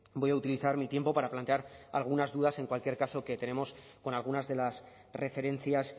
voy a utilizar mi tiempo para plantear algunas dudas en cualquier caso que tenemos con algunas de las referencias